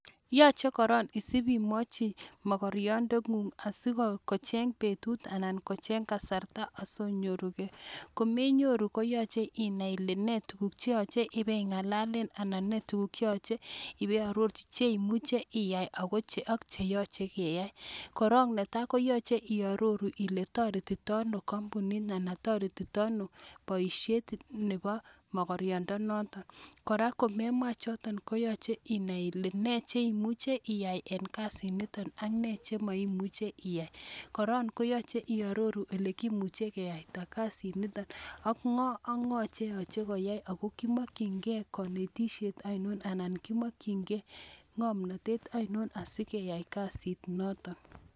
Yoche korong isib imwochi mokoryondeng'ung asikocheng betut anan kocheng kasarta asi onyoruge. Komenyoru koyoche inai ile nee tuguk che yoche ibei ng'alalen anan ne tuguk che yoche ibeiarorji che imuche iyai ak che yochekeyai. Korong netai koyoche iarorji ile toretitaito ano kompunit anan toretindo ano boisiet nebo mogorindonoto. Kora komemwa choto koyoche inai ile nee che imuche iyai en kasinito ak nee che moimuche iyai. Korong koyoche iaroruu ole kimuche kiyaita kasinito ak ng'o ak ng'o che yoche koyai ago kimokin ge konetishet ainon anan kimokin ge ng'omnatet ainon asikobit keyai kasinoto.